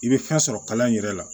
I bɛ fɛn sɔrɔ kalan in yɛrɛ la